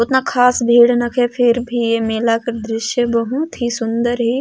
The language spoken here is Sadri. उतना खास भीड़ नखे फिर भी ये मेला का दृश्य बहुत ही सुन्दर हे।